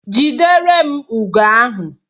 Jidere m ugo ahu!